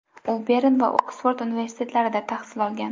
U Bern va Oksford universitetlarida tahsil olgan.